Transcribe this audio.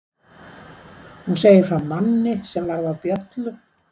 Hún segir frá manni sem varð að bjöllu.